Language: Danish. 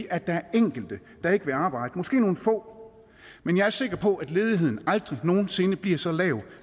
er der enkelte der ikke vil arbejde måske nogle få men jeg er sikker på at ledigheden aldrig nogen sinde bliver så lav